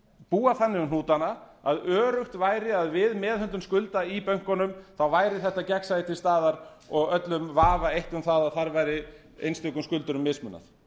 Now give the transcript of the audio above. búa þannig um hnútana að öruggt væri að við meðhöndlun skulda í bönkunum væri þetta gegnsæi til staðar og öllum vafa eytt um að þar væri einstökum skuldurum mismunað